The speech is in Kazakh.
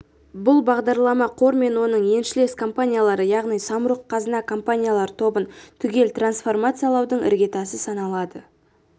бұл бағдарлама қор мен оның еншілес компаниялары яғни самұрық-қазына компаниялар тобын түгел трансформациялаудың іргетасы саналады